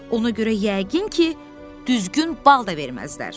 Ona görə yəqin ki, düzgün bal da verməzlər.